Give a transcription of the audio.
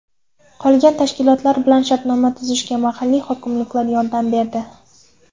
Qolgan tashkilotlar bilan shartnoma tuzishga mahalliy hokimliklar yordam berdi.